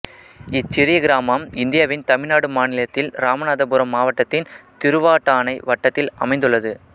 இச்சிறிய கிராமம் இந்தியாவின் தமிழ்நாடு மாநிலத்தில் இராமநாதபுரம் மாவட்டத்தின் திருவாடானை வட்டத்தில் அமைந்துள்ளது